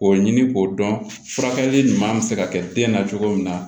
K'o ɲini k'o dɔn furakɛli ɲuman bɛ se ka kɛ den na cogo min na